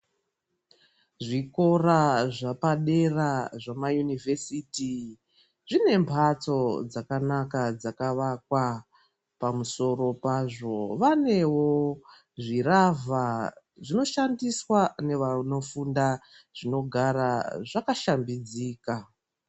Zvikora zvepadera zvema Inivhesiti zvine mhatso dzakanaka dzakavakwa pamusoro pazvo vanewo zviravha zvinoshandiswa nevanofunda zvinogara zvakashambidzika.